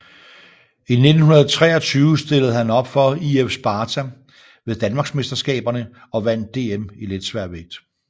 I 1923 stillede han op for IF Sparta ved danmarksmesterskaberne og vandt DM i letsværvægt